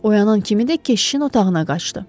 Oyanan kimi də keşişin otağına qaçdı.